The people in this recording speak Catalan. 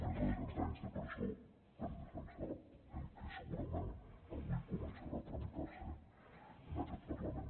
més de cent anys de presó per defensar el que segurament avui començarà a tramitar se en aquest parlament